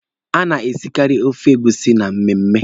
A na-esikaari ofe egusi na mmemme.